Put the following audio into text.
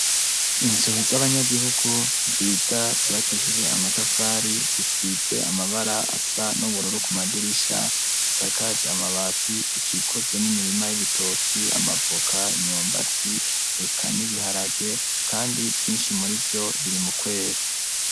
Inzu z'abanyagihugu nziza zubakishijwe amatafari zifise amabara asa n'uburoro ku madirisha zisakaje amabati zikikujwe n'imirima y'ibitoki amavuka inyumbati eka n'ibiharage kandi vyinshi muri vyo biri mu kwera.